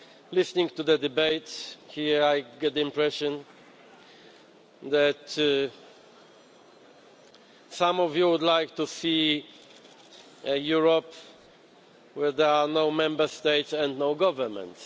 Listening to the debate here, I get the impression that some of you would like to see a Europe where there are no Member States and no governments.